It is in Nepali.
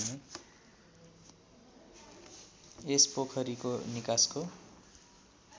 यस पोखरीको निकासको